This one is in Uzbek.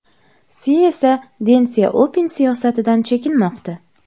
Si esa Den Syaopin siyosatidan chekinmoqda.